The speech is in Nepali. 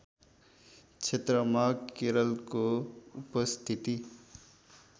क्षेत्रमा केरलको उपस्थिति